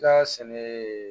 Da sɛnɛ